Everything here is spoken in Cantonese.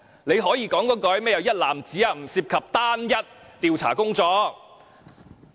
你只可以說不涉及"一男子"或單一調查工作。